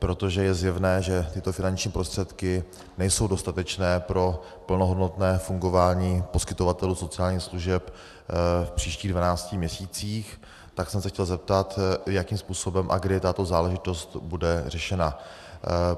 Protože je zjevné, že tyto finanční prostředky nejsou dostatečné pro plnohodnotné fungování poskytovatelů sociálních služeb v příštích 12 měsících, tak jsem se chtěl zeptat, jakým způsobem a kdy tato záležitost bude řešena.